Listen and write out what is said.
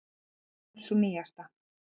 Þetta er sú nýjasta.